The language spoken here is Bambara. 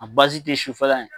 A bazi te sufɛla ye